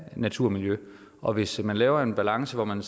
af natur og miljø og hvis man laver en balance hvor man